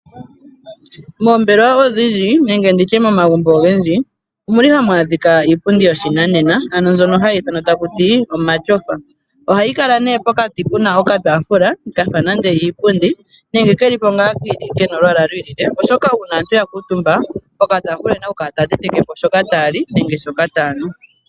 Mombelewa odhindji nenge nditye momagumbo ongendji omuli hamwadhika iipundi yoshinanena ano mbyono hayithanwa takuti omatyofa, ohayi kala ne pokati puna oka tafula kafa nande iipundi nenge kelipo nga kena olwala lwilile, oshoka una aantu yakutumba poka tafula oyena okukala taya tetekepo shoka tayali nenge shoka tayanu.